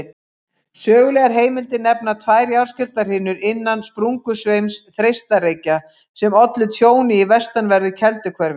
Sögulegar heimildir nefna tvær jarðskjálftahrinur innan sprungusveims Þeistareykja sem ollu tjóni í vestanverðu Kelduhverfi.